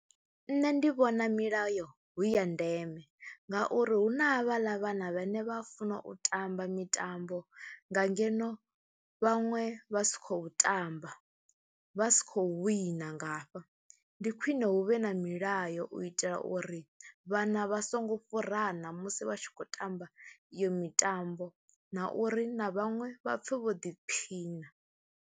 Nṋe ndi vhona milayo hu ya ndeme ngauri hu na havhaḽa vhana vhane vha funa u tamba mitambo nga ngeno vhaṅwe vha si khou tamba, vha si khou wina nga hafha. Ndi khwine hu vhe na milayo u itela uri vhana vha songo fhurana musi vha tshi khou tamba iyo mitambo na uri na vhaṅwe vha pfhe vho ḓiphina.